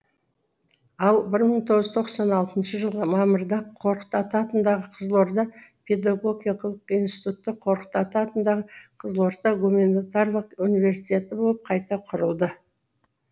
ал бір мың тоғыз жүз тоқсан алтыншы жылғы мамырда қорқыт ата атындағы қызылорда педагогикалық институты қорқыт ата атындағы қызылорда гуманитарлық университеті болып қайта құрылды